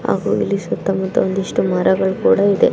ಹಾಗು ಇಲ್ಲಿ ಸುತ್ತ ಮುತ್ತ ಒಂದಿಷ್ಟು ಮರಗಳು ಕೂಡ ಇದೆ.